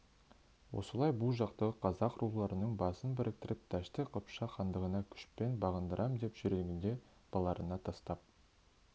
осылай бұ жақтағы қазақ руларының басын біріктіріп дәшті қыпшақ хандығына күшпен бағындырам деп жүргенінде балаларына тастап